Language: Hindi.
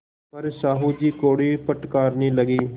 पर साहु जी कोड़े फटकारने लगे